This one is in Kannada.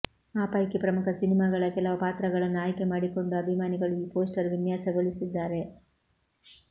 ಆ ಪೈಕಿ ಪ್ರಮುಖ ಸಿನಿಮಾಗಳ ಕೆಲವು ಪಾತ್ರಗಳನ್ನು ಆಯ್ಕೆ ಮಾಡಿಕೊಂಡು ಅಭಿಮಾನಿಗಳು ಈ ಪೋಸ್ಟರ್ ವಿನ್ಯಾಸಗೊಳಿಸಿದ್ದಾರೆ